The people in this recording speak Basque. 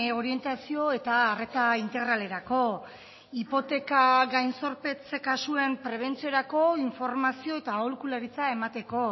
orientazio eta arreta integralerako hipoteka gain zorpetze kasuen prebentziorako informazio eta aholkularitza emateko